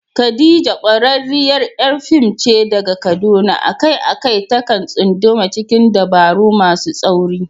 Khadija, ƙwararriyar ƴar fim ce daga Kaduna, a kai a kai ta kan tsunduma cikin dabaru masu tsauri.